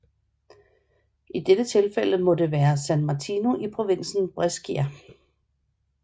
I dette tilfælde må det være San Martino i provinsen Brescia